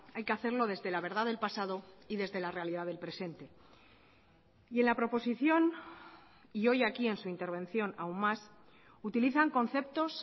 hay que hacerlo desde la verdad del pasado y desde la realidad del presente y en la proposición y hoy aquí en su intervención aun más utilizan conceptos